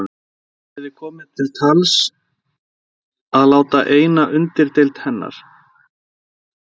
Hafði komið til tals að láta eina undirdeild hennar